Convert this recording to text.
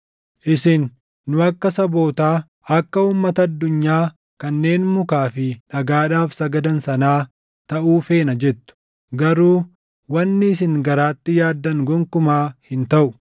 “ ‘Isin, “Nu akka sabootaa, akka uummata addunyaa kanneen mukaa fi dhagaadhaaf sagadan sanaa taʼuu feena” jettu. Garuu wanni isin garaatti yaaddan gonkumaa hin taʼu.